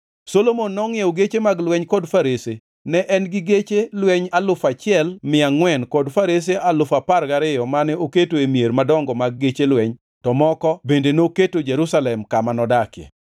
Solomon nongʼiewo geche mag lweny kod farese; ne en gi geche lweny alufu achiel mia angʼwen kod farese alufu apar gariyo mane oketo e mier madongo mag geche lweny to moko bende noketo Jerusalem kama nodake.